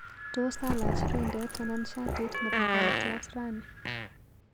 Tos alach rindet anan shatit nebo kaotyat rani?